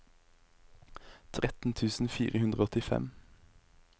tretten tusen fire hundre og åttifem